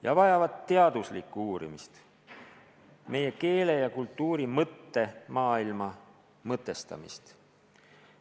Ka vajavad need teaduslikku uurimist, meie keele ja kultuuri mõttemaailma mõtestamist.